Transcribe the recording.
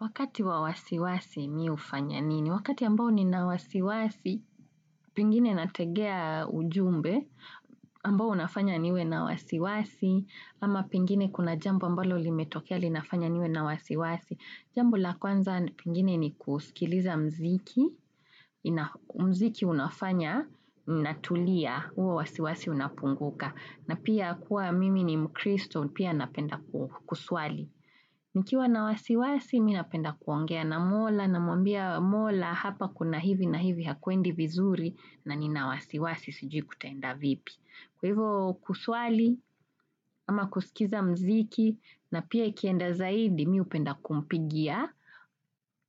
Wakati wa wasiwasi mimi hufanya nini? Wakati ambao nina wasiwasi, pengine nategea ujumbe, ambao unafanya niwe na wasiwasi, ama pengine kuna jambo ambalo limetokea linafanya niwe na wasiwasi. Jambola kwanza pengine ni kusikiliza mziki, mziki unafanya, natulia, huwa wasiwasi unapunguka, na pia kuwa mimi ni mkristo, pia napenda kuswali. Nikiwa na wasiwasi, mimi napenda kuongea na mola na mwambia mola hapa kuna hivi na hivi hakuendi vizuri na ni na wasiwasi sijui kutaenda vipi. Kwahivo kuswali ama kusikiza mziki na pia ikienda zaidi, mimi hupenda kumpigia